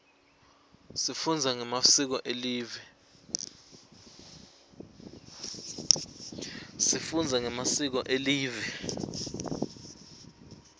sifunza ngemasiko elive